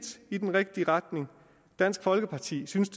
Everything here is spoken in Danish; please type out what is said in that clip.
i den rigtige retning dansk folkeparti synes